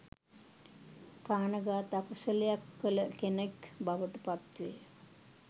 ප්‍රාණඝාත අකුසලයක් කළ කෙනෙක් බවට පත්වේ.